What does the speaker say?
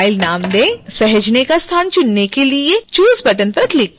सहेजने का स्थान चुनने के लिए choose बटन पर क्लिक करें